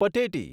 Pateti